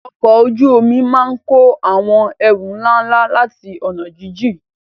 Ọkọ̀ ojú omi máa ń kó àwọn ẹrù ńlá ńlá láti ọ̀nà jíjìn.